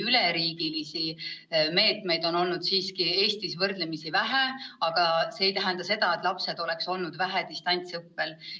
Üleriigilisi meetmeid on Eestis küll olnud võrdlemisi vähe, aga see ei tähenda seda, et lapsed oleks distantsõppel vähe olnud.